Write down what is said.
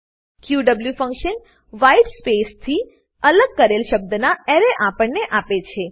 ક્યુએવ function white space થી અલગ કરેલ શબ્દના એરે આપણને આપે છે